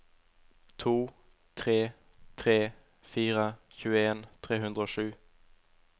to tre tre fire tjueen tre hundre og sju